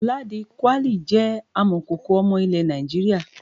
Ladi kwali jẹ́ amọ̀kòkò ọmọ ilẹ̀ Nàìjíríà.